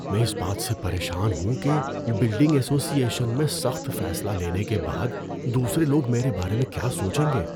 میں اس بات سے پریشان ہوں کہ بلڈنگ ایسوسی ایشن میں سخت فیصلہ لینے کے بعد دوسرے لوگ میرے بارے میں کیا سوچیں گے۔